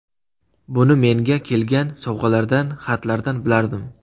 Buni menga kelgan sovg‘alardan, xatlardan bilardim.